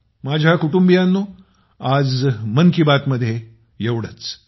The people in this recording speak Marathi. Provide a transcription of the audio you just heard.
माझ्या कुटुंबियांनो आज मन की बातमध्ये एवढेच